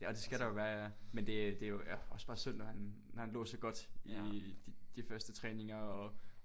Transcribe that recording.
Ja og det skal der jo være ja men det er det er jo ja også bare synd når han når han lå så godt i de første træninger og